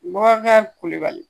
Bubakari Kulubali